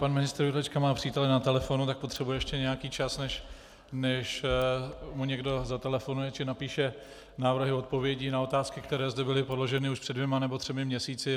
Pan ministr Jurečka má přítele na telefonu, tak potřebuje ještě nějaký čas, než mu někdo zatelefonuje či napíše návrhy odpovědí na otázky, které zde byly položeny už před dvěma nebo třemi měsíci.